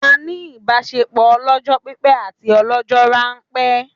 A ní ìbásepọ̀ ọlọ́jọ́ pípẹ́ àti ọlọ́jọ́ ránpẹ́